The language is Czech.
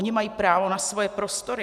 Oni mají právo na svoje prostory.